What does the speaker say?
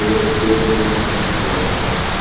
hver er kjörþyngd þrettán ára drengs